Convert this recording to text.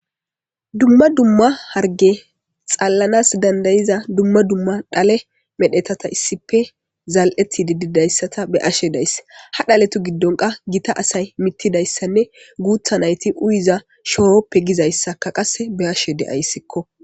dumma dumma harge xallanas dandayiza dumma dumma dhale medhetata issipe zal'eti dididayssata be'ashe dayss ha dhaletu giddonka gita asay mittidayssanne guutha nayti uyiza showoppe gizayssaka qasse beashe de'ayssikko